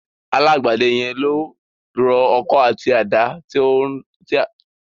Alágbẹ̀dẹ yẹn ló rọ ọkọ́ àti àdá tí à ń lò lórí oko.